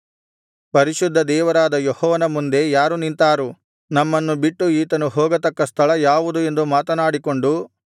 ಪರಿಶುದ್ಧ ದೇವರಾದ ಯೆಹೋವನ ಮುಂದೆ ಯಾರು ನಿಂತಾರು ನಮ್ಮನ್ನು ಬಿಟ್ಟು ಈತನು ಹೋಗತಕ್ಕ ಸ್ಥಳ ಯಾವುದು ಎಂದು ಮಾತನಾಡಿಕೊಂಡು